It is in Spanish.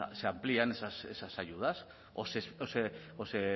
se amplían a esas ayudas o se